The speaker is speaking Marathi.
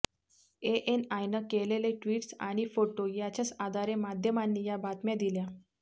एएनआयनं केलेले ट्वीट्स आणि फोटो याच्याच आधारे माध्यमांनी या बातम्या दिल्या